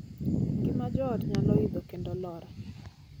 Ngima joot nyalo idho kendo lor.